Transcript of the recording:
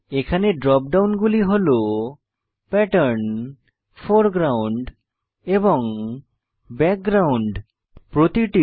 এখানে ড্রপ ডাউনগুলি হল প্যাটার্ন ফোরগ্রাউন্ড এবং ব্যাকগ্রাউন্ড অন্তর্ভুক্ত